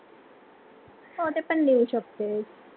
हो, ते पण लिहू शकतेस